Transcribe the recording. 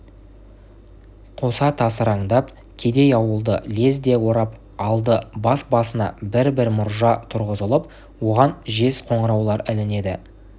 қоса тасыраңдап кедей ауылды лезде орап алды бас-басына бір-бір мұржа тұрғызылып оған жез қоңыраулар ілінеді